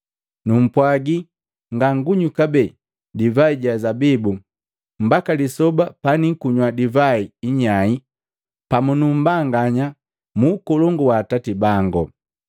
Numpwaji ngangunywi kabee divai ja zabibu mbaka lisoba paniikunywa divai inyai pamu nu mbanganya mu Ukolongu wa Atati bango.”